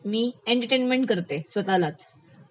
मी entertainment करते स्वतः लाच